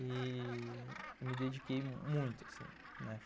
E me dediquei muito assim, né